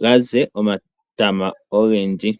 ga ze omatama ogendji.